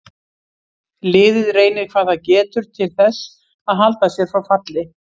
Liðið reynir hvað það getur til þess að halda sér frá falli.